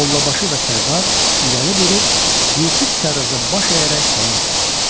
Mollabaşı və Sərdar irəli durub Yusif Sərraca baş əyərək salam verdilər.